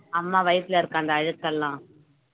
அம்மா வயித்துல இருக்க அந்த அழுக்கெல்லாம்